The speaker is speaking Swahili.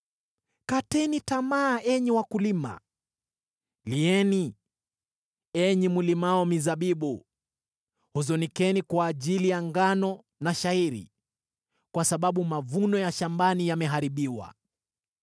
Kateni tamaa, enyi wakulima, lieni, enyi mlimao mizabibu; huzunikeni kwa ajili ya ngano na shayiri, kwa sababu mavuno ya shambani yameharibiwa.